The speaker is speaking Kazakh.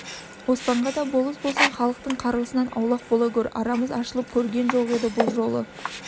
оспанға да болыс болсаң халықтың қар-ғысынан аулақ бола гөр арамыз ашылып көрген жоқ еді бұл жолы